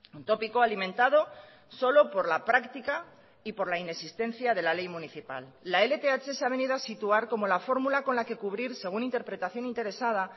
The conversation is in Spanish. un tópico alimentado solo por la práctica y por la inexistencia de la ley municipal la lth se ha venido a situar como la fórmula con la que cubrir según interpretación interesada